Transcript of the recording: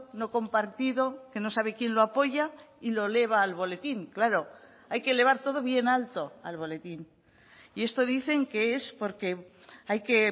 no compartido que no sabe quién lo apoya y lo eleva al boletín claro hay que elevar todo bien alto al boletín y esto dicen que es porque hay que